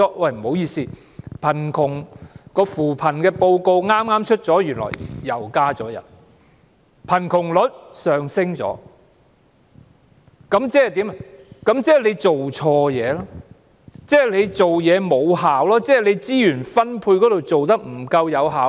不好意思，剛公布的扶貧報告顯示，原來相關人數又增加了，貧窮率亦上升了，即是說，政府做錯事、做事欠缺成效、資源分配做得不夠有效。